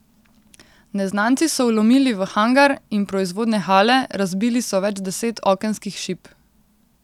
Neznanci so vlomili v hangar in proizvodne hale, razbili so več deset okenskih šip.